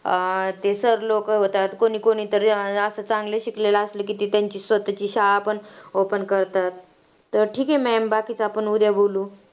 अं ते sir लोकं होतात. कोणी कोणी तर अं असं चांगलं शिकलेलं असलं की ते त्यांची स्वतःची शाळा पण open करतात. तर ठीके maam, बाकीचं आपण उद्या बोलू.